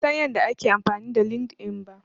Ban san yadda ake amfani da LinkedIn ba.